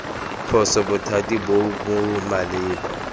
phoso bothati bo bo maleba